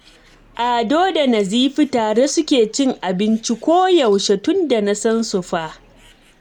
Ado da Nazifi tare suke cin abinci koyaushe tunda na san su fa